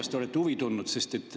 Kas te olete huvi tundnud?